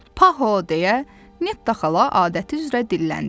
Paho, deyə Netta xala adəti üzrə dilləndi.